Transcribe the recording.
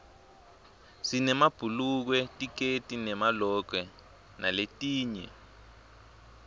sinemabhulukwe tikedi nemalokwe naletinye